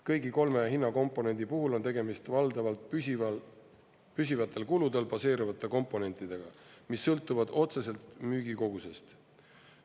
Kõigi kolme hinnakomponendi puhul on tegemist valdavalt püsivatel kuludel baseeruvate komponentidega, mis sõltuvad otseselt müügikogusest.